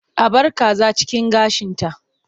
A bar kaza cikin gashinta.